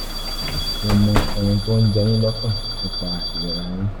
mo mọ ohun tó ń jẹ yín lọ́kàn nípa ìlera yín